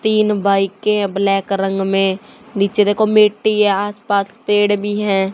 तीन बाईकें है ब्लैक रंग में नीचे देखो मिट्टी है आसपास पेड़ भी है।